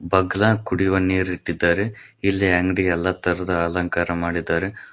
ಬಗ್ಲಾಗ ಕುಡಿಯುವ ನೀರ ಇಟ್ಟಿದ್ದಾರೆ ಇಲ್ಲಿ ಅಂಗಡಿ ಎಲ್ಲಾ ತರದ ಅಲಂಕಾರ ಮಾಡಿದ್ದಾರೆ.